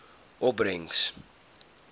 opbrengs